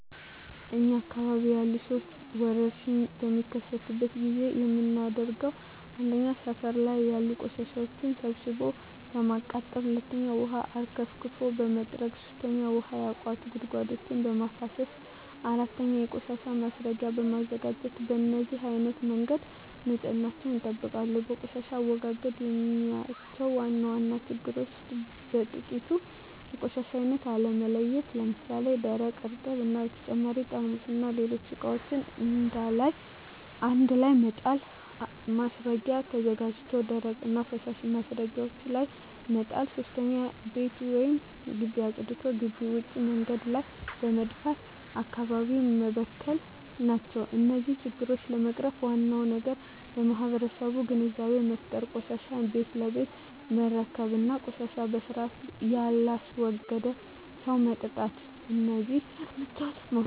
እኛ አካባቢ ያሉ ሠዎች ወርሽኝ በሚከሰትበት ጊዜ የምናደርገው 1. ሠፈር ላይ ያሉ ቆሻሻዎችን ሠብስቦ በማቃጠል 2. ውሀ አርከፍክፎ በመጥረግ 3. ውሀ ያቋቱ ጉድጓዶችን በማፋሠስ 4. የቆሻሻ ማስረጊያ በማዘጋጀት በነዚህ አይነት መንገድ ንፅህናቸውን ይጠብቃሉ። በቆሻሻ አወጋገድ የማያቸው ዋና ዋና ችግሮች ውስጥ በጥቂቱ 1. የቆሻሻ አይነት አለመለየት ለምሣሌ፦ ደረቅ፣ እርጥብ እና በተጨማሪ ጠርሙስና ሌሎች ቆሻሻዎችን አንድላይ መጣል። 2. ማስረጊያ ተዘጋጅቶ ደረቅና ፈሣሽ ማስረጊያው ላይ መጣል። 3. ቤት ወይም ግቢ አፅድቶ ግቢ ውጭ መንገድ ላይ በመድፋት አካባቢውን መበከል ናቸው። እነዚህን ችግሮች ለመቅረፍ ዋናው ነገር ለማህበረሠቡ ግንዛቤ መፍጠር፤ ቆሻሻን ቤት ለቤት መረከብ እና ቆሻሻን በስርአት የላስወገደን ሠው መቅጣት። እደዚህ እርምጃዎች መውሠድ አለብን።